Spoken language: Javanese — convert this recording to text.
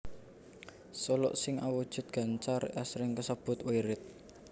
Suluk sing awujud gancar asring kasebut wirid